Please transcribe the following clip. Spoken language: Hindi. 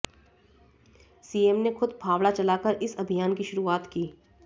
सीएम ने खुद फावड़ा चलाकर इस अभियान की शुरुआत की